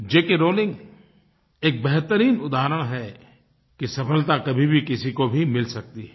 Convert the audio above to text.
जे K Rowling एक बेहतरीन उदाहरण हैं कि सफलता कभी भी किसी को भी मिल सकती है